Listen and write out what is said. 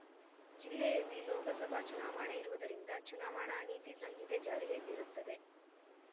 ಜಿಲ್ಲೆಯಲ್ಲಿ ಲೋಕಸಭಾ ಚುನಾವಣೆ ಇರುವುದರಿಂದ ಚುನಾವಣಾ ನೀತಿ ಸಂಹಿತೆ ಜಾರಿಯಲ್ಲಿರುತ್ತದೆ